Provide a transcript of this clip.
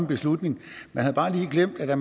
beslutning man havde bare lige glemt at der